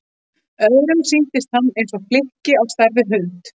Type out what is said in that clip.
Öðrum sýndist hann eins og flykki á stærð við hund.